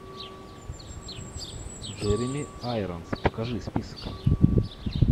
джереми айронс покажи список